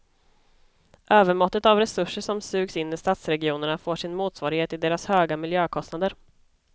Övermåttet av resurser som sugs in i stadsregionerna får sin motsvarighet i deras höga miljökostnader.